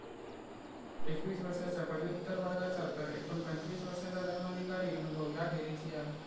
एकवीस वर्षाच्या पदव्युत्तर वर्गाचा तर एकूण पंचवीस वर्षाचा धर्माधिकारी अनुभव याखेरीज या.